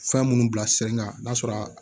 Fɛn minnu bila sen kan n'a sɔrɔ a